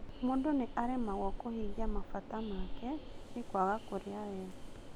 Mũndũ nĩ aremagwo kũhingia matanya make ni kwaga kũrĩa wega